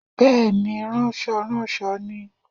Bẹ́ẹ̀ni ránsoránso ni